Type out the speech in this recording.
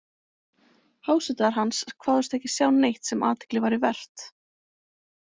Hásetar hans kváðust ekki sjá neitt sem athygli væri vert.